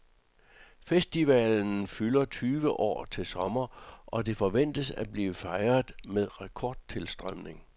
Festivalen fylder tyve år til sommer, og det forventes at blive fejret med rekordtilstrømning.